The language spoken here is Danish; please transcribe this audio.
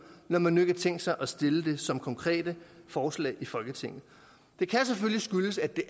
når man nu ikke har tænkt sig at stille det som konkrete forslag i folketinget det kan selvfølgelig skyldes at det